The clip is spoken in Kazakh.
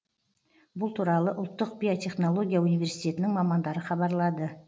бұл туралы ұлттық биотехнология университетінің мамандары хабарлады